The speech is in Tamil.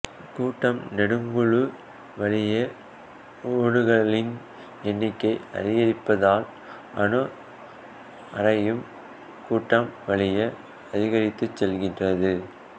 கூட்டம் நெடுங்குழு வழியே ஓடுகளின் எண்ணிக்கை அதிகரிப்பதால் அணு ஆரையும் கூட்டம் வழியே அதிகரித்துச் செல்கின்றது